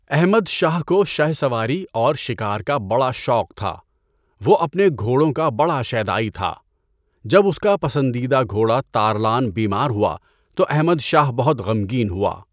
احمد شاہ کو شہ سواری اور شکار کا بڑا شوق تھا، وہ اپنے گھوڑوں کا بڑا شیداٸی تھا۔ جب اس کا پسندیدہ گھوڑا تارلان بیمار ہوا تو احمد شاہ بہت غمگین ہوا۔